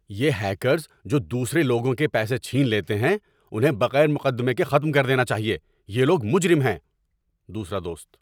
یہ ہیکرز جو دوسرے لوگوں کے پیسے چھین لیتے ہیں انہیں بغیر مقدمے کے ختم کر دینا چاہیے۔ یہ لوگ مجرم ہیں۔ (دوسرا دوست)